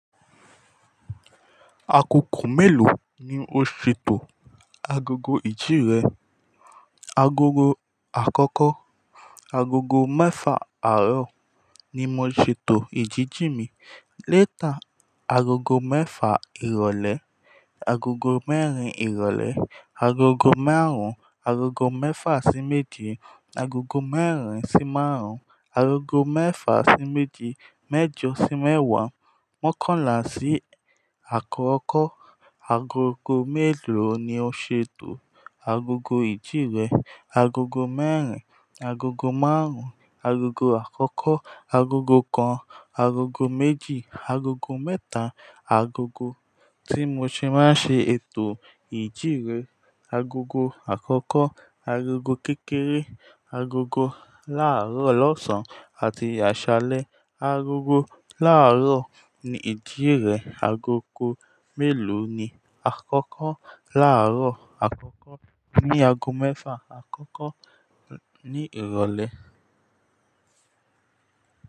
Akoko mélòó ni o ṣètò agogo ìjíre? Agogo àkọ́kọ́, agogo mẹ́fà àárọ̀ ni mo ṣètò ìjíjì mi. Lẹ́tà, agogo mẹ́fà ìrọ̀lẹ́, agogo mẹ́rin ìrọ̀lẹ́, agogo márùn-ún, agogo mẹ́fà sí méjì, agogo mẹ́rin sí márùn-ún, agogo mẹ́fà sí méje, mẹ́jọ sí mẹ́wàá. Mọ́kànlá sí àkọ́kọ́. Agogo mélòó ni o ṣètò agogo ìjíre? Agogo mẹ́rin, agogo márùn-ún, agogo àkọ́kọ́, agogo kan, agogo méjì, agogo mẹ́ta. Agogo tí mo ṣe máa ṣe ètò ìjí mi Agogo àkọ́kọ́, agogo kékeré, agogo láàárọ̀ ọlọ́sàn àti àṣálẹ́. Agogo láàárọ̀ ní ìjíre. Agogo mélòó ni àkọ́kọ́? Láàárọ̀ àkọ́kọ́ ní ago mẹ́fà. Àkọ́kọ́ ní ìrọ̀lẹ́